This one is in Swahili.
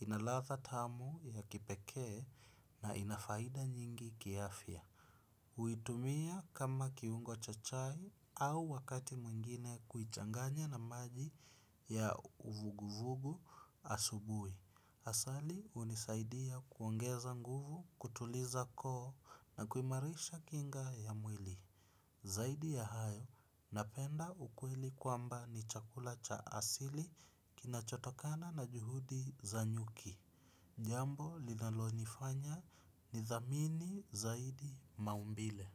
inlatha tamu ya kipeke na inafaida nyingi kiafya huitumia kama kiungo cha chai au wakati mwingine kuichanganya na maji ya uvuguvugu asubui. Asali unisaidia kuongeza nguvu, kutuliza koo na kuimarisha kinga ya mwili. Zaidi ya hayo napenda ukweli kwamba ni chakula cha asili kina chotokana na juhudi za nyuki. Jambo linalonifanya ni dhamini zaidi maumbile.